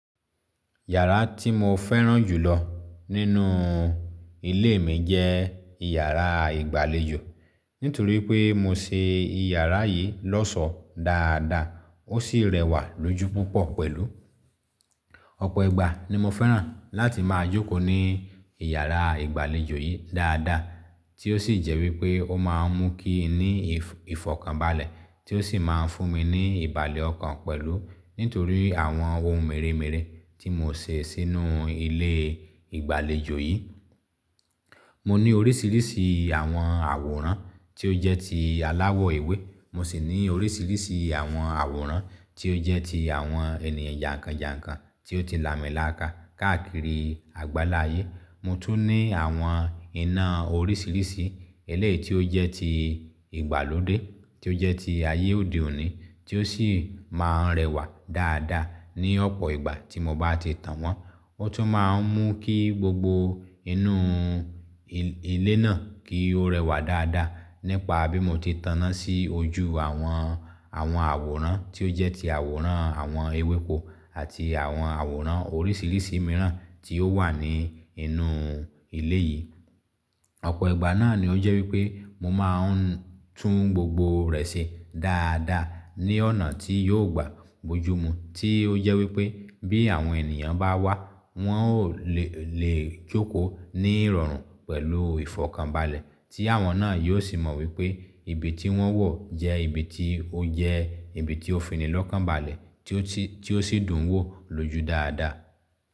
Yàrá tí mo fẹ́ràn jù lọ nínú ilé mi jẹ́ iyàrá ìgbàlejò. Nítorí pé mo ṣe iyàrá yìí lọ́sọ̀ọ́ dáadáa, ó sì rẹwà lójú púpọ̀ pẹ̀lú. Ọ̀pọ̀ ìgbà ni mo fẹ́ràn láti máa jókòó ní yàrá ìgbàlejò yìí dáadáa, tí ó sì jẹ́ wípé ó máa ń mú kí i ní ìfọ̀kànbalẹ̀, tí ó sì máa ń fún mi ní ìbàlẹ̀ ọkàn pẹ̀lú. Nítorí àwọn ohun mèremère tí mo ṣe sínú ilé ìgbàlejò yìí. Mo ní oríṣiríṣi àwọn àwòrán tí ó jẹ́ ti aláwọ̀ ewé. Mo sì ní oríṣiríṣi àwọn àwòrán tí ó jẹ́ ti àwọn ènìyàn jàǹkàn jàǹkàn tí ó ti làmìlaka káàkiri àgbàńláayé. Mo tún ní àwọn iná oríṣiríṣi éléyì tí ó jẹ́ ti ìgbàlódé, tí ó jẹ́ ti ayé òde òní tí ó sì máa ń rẹwà dáadáa ní ọ̀pọ̀ ìgbà tí mo bá ti tàn wọ́n. Ó tún máa ń mú kí gbogbo inú ilé náà kí ó rẹwà dáadáa nípa bí mo ti tànná sí ojú àwọn, àwọn àwòrán tí ó jẹ́ ti àwòrán àwọn ewéko àti àwọn àwòrán oríṣiríṣi mìíràn tí ó wà ní inú ilé yìí. Ọ̀pọ̀ ìgbà náà ni ó jẹ́ wípé mo máa ń tún gbogbo rẹ̀ ṣe dáadáa ní ọ̀nà tí yóò gbà bojú mu tí ó jẹ́ wípé bí àwọn ènìyàn bá wá, wọ́n ó lè jókòó ní ìrọ̀rùn pẹ̀lú ìfọ̀kànbalẹ̀ tí àwọn náà yóò sì mọ̀ wípé ibi tí wón wọ̀ jẹ́ ibi tí ó jẹ́ ibi tí ó fìní lọ́kànbalẹ̀ tí ó sì dùn wò lójú dáadáa.